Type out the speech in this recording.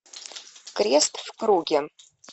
крест в круге